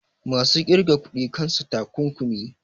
masu ƙirga kuɗi kansa takunkumi